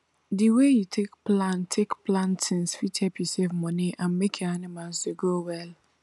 the way you take plan take plan things fit help you save money and make your animals dey grow well